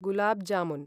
गुलाब् जामुन्